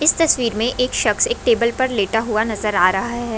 इस तस्वीर मे एक शख्स टेबल पर लेटा नजर आ रहा है।